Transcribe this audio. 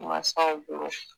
Mansaw bolo